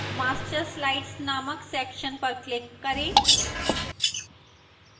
master slides named section पर click करें